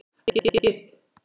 Að vera gift?